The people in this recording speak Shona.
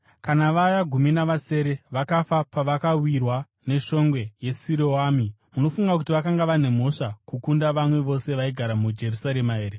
Kana vaya gumi navasere vakafa pavakawirwa neshongwe yeSiroami, munofunga kuti vakanga vane mhosva kukunda vamwe vose vaigara muJerusarema here?